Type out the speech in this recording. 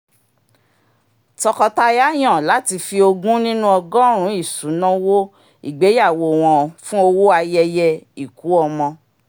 tọkọtaya yàn láti fi ogún nínú ọgọ́rùn-ún isunawo ìgbéyàwó wọn fún owó ayẹyẹ ìkú-ọmọ